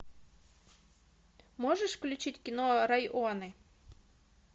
можешь включить кино районы